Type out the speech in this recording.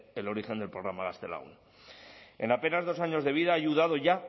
el origen del programa gaztelagun en apenas dos años de vida ha ayudado